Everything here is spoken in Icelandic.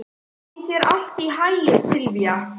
Gangi þér allt í haginn, Silvía.